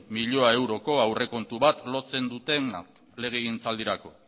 mila euroko aurrekontu bat lotzen dutena legegintzaldirako